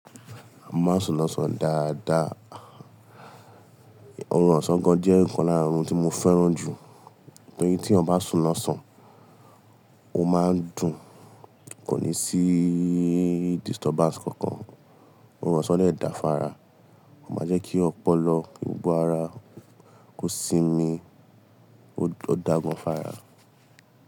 Má ma sùn lọ́sàn-án dáadáa. Orun ọ̀sán gan jẹ́ nǹkan lára àwọn ohun tí mo fẹ́ràn jù, nítorí tí ènìyàn bá sùn lọ́sàn ó máa ń dùn kò ní sí disturbance kankan. Orun ọ̀sán dé da fún ára, ó máa jẹ́ kí ọpọlọ, gbogbo ara kó sinmi, ó dá gan fára.